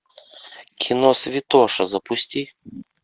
кино святоша запусти